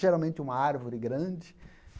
Geralmente uma árvore grande.